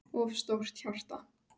of stórt hjarta